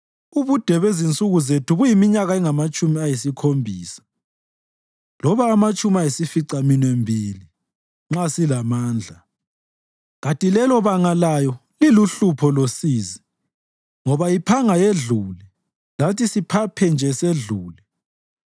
Ubude bezinsuku zethu buyiminyaka engamatshumi ayisikhombisa loba amatshumi ayisificaminwembili, nxa silamandla; kanti lelobanga layo liluhlupho losizi, ngoba iphanga yedlule, lathi siphaphe nje sedlule.